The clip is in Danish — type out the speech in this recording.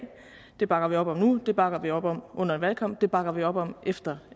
den bakker vi op om nu den bakker vi op om under en valgkamp og den bakker vi op om efter